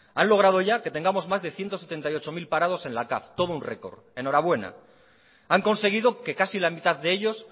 han logrado ya que tengamos más de ciento setenta y ocho mil parados en la capv todo un récord enhorabuena han conseguido que casi la mitad de ellos